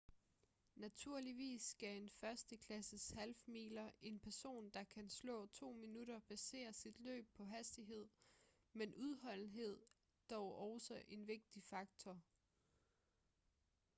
naturligvis skal en førsteklasses half-miler en person der kan slå to minutter basere sit løb på hastighed men udholdenhed er dog også en vigtig faktor